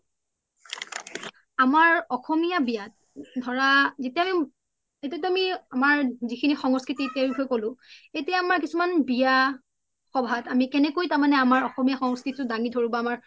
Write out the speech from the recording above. আমৰ অসমীয়া বিয়াত ধৰা এতিয়াতো আমাৰ জিখিনি সন্স্ক্ৰিতি তাৰ বিষসয়ে কলো এতিয়া আমাৰ কিছুমান বিয়াত সভাত আমি কেনেকৈ মানে আমাৰ অসমীয়া সন্স্ক্ৰিতিতু দাঙি ধৰু বা আমাৰ